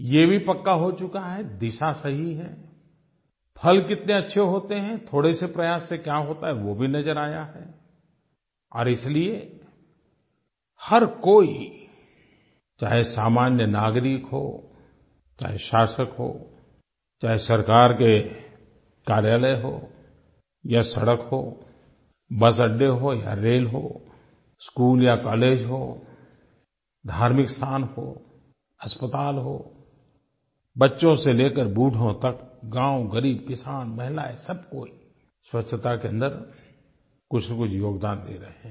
ये भी पक्का हो चुका है दिशा सही है फल कितने अच्छे होते हैं थोड़े से प्रयास से क्या होता है वो भी नज़र आया है और इसलिए हर कोई चाहे सामान्य नागरिक हो चाहे शासक हो चाहे सरकार के कार्यालय हों या सड़क हो बसअड्डे हों या रेल हो स्कूल या कॉलेज हो धार्मिक स्थान हो अस्पताल हो बच्चों से लेकर बूढों तक गाँव ग़रीब किसान महिलाएँ सब कोई स्वच्छ्ता के अन्दर कुछनकुछ योगदान दे रहे हैं